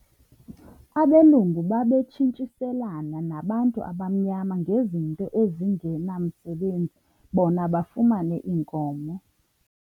Abelungu babetshintshiselana nabantu abamnyama ngezinto ezingenamsebenzi bona bafumane iinkomo.